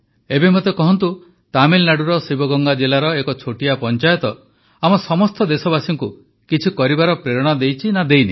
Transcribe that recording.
ଏବେ ମୋତେ କହନ୍ତୁ ତାମିଲନାଡୁର ଶିବଗଙ୍ଗା ଜିଲାର ଏକ ଛୋଟିଆ ପଂଚାୟତ ଆମ ସମସ୍ତ ଦେଶବାସୀଙ୍କୁ କିଛି କରିବାର ପ୍ରେରଣା ଦେଇଛି ନା ଦେଇନି